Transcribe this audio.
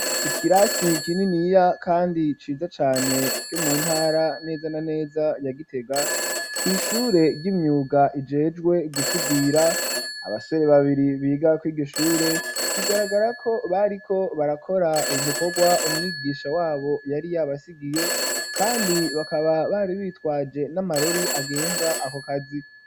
Ikirasi kininiya kandi ciza cane kiri mu ntara neza na neza ya Gitega, kw'ishure ry'imyuga rijejwe gusudira. Abasore babiri biga kw'iryo shure, bigaragara ko bariko barakora ico gikorwa umwigisha w'abo yari yabasigiye kandi bakaba bari bitwaje n'amarori agenga ako kazi.